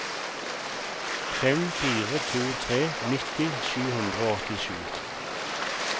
fem fire to tre nitti sju hundre og åttisju